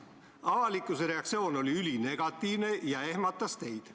Avalikkuse reaktsioon oli ülinegatiivne ja ehmatas teid.